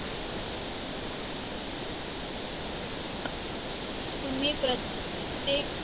तुम्ही प्रत्येक